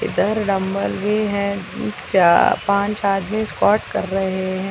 इधर डंबल भी है चार पांच आदमी स्कॉट कर रहे है।